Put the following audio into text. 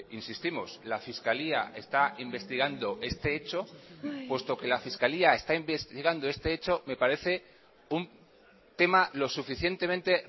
insistimos la fiscalía está investigando este hecho puesto que la fiscalía está investigando este hecho me parece un tema lo suficientemente